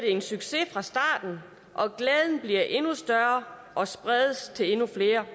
en succes fra starten og glæden bliver endnu større og spredes til endnu flere